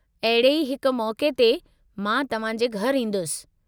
अहिड़े ई हिक मौक़े ते मां तव्हांजे घरि ईंदुसि।